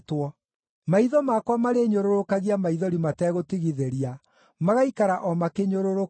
Maitho makwa marĩnyũrũrũkagia maithori mategũtigithĩria, magaikara o makĩnyũrũrũkaga,